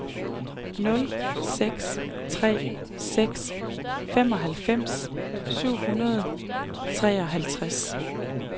nul seks tre seks femoghalvfems syv hundrede og treoghalvtreds